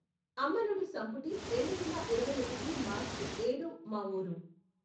అమ్మనుడి సంపుటి రెండువేల ఇరవై ఒకటి మార్చి ఏడు మా ఊరు